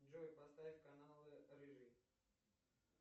джой поставь канал рыжий